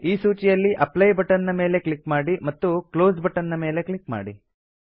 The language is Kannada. ಈ ಸೂಚಿಯಲ್ಲಿ ಅಪ್ಲೈ ಬಟನ್ ನ ಮೇಲೆ ಕ್ಲಿಕ್ ಮಾಡಿ ಮತ್ತು ಕ್ಲೋಸ್ ಬಟನ್ ನ ಮೇಲೆ ಕ್ಲಿಕ್ ಮಾಡಿ